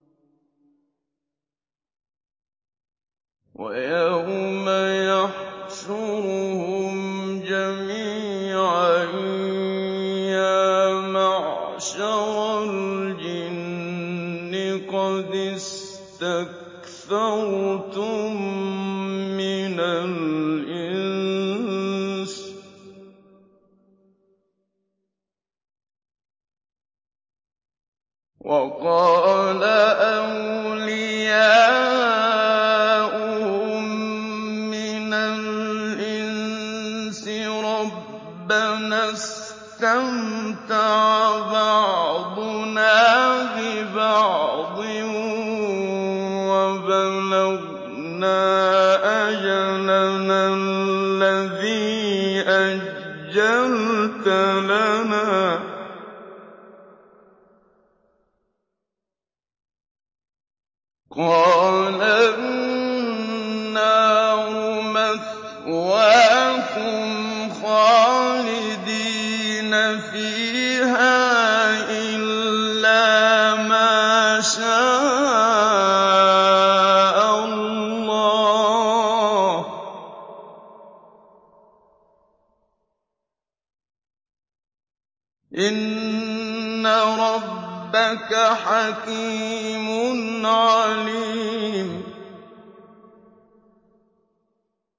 وَيَوْمَ يَحْشُرُهُمْ جَمِيعًا يَا مَعْشَرَ الْجِنِّ قَدِ اسْتَكْثَرْتُم مِّنَ الْإِنسِ ۖ وَقَالَ أَوْلِيَاؤُهُم مِّنَ الْإِنسِ رَبَّنَا اسْتَمْتَعَ بَعْضُنَا بِبَعْضٍ وَبَلَغْنَا أَجَلَنَا الَّذِي أَجَّلْتَ لَنَا ۚ قَالَ النَّارُ مَثْوَاكُمْ خَالِدِينَ فِيهَا إِلَّا مَا شَاءَ اللَّهُ ۗ إِنَّ رَبَّكَ حَكِيمٌ عَلِيمٌ